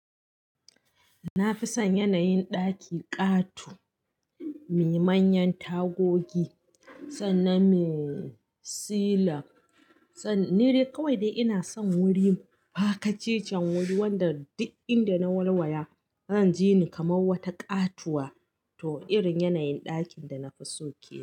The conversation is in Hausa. Na fi son yanayin ɗaki ƙato, me manyan tagogi sannan me silan. Sannan ni dai kawai dai ina son wurin, Pakacecen wuri wanda duk inda na walwaya zan ji ni kamar wata ƙatuwa, to irin yanayin ɗakin da na fi so yake.